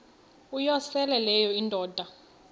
uyosele leyo indoda